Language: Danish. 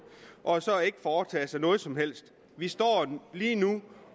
og ikke foretage sig noget som helst vi står lige nu